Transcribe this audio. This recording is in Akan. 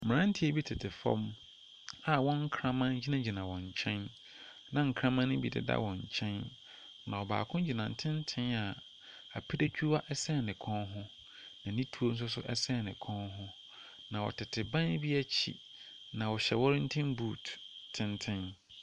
Mmeranteɛ bi tete fɔm a wɔn nkraman gyina gyina wɔn nkyɛn, na nkraman no bi deda wɔn nkyɛn, ma baako gyina ntenten a apiretwua ɛsɛn ne kɔn ho. Na ne tuo nso so ɛsɛn ne kɔn ho, na ɔtete ban bi akyi, na ɔhyɛ wɔrenten but tenten.